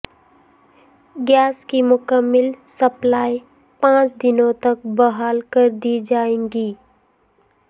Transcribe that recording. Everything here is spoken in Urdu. گیس کی مکمل سپلائی پانچ دنوں تک بحال کر دی جائے گی